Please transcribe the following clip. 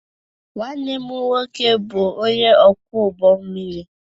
Nwanne m nwoke bụ onye ọkwọ ụgbọ mmiri